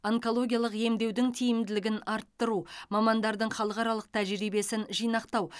онкологиялық емдеудің тиімділігін арттыру мамандардың халықаралық тәжірибесін жинақтау